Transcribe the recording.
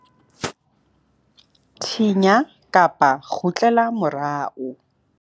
thinya-kgutlela morao